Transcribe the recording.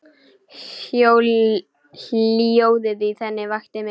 Hljóðið í henni vakti mig.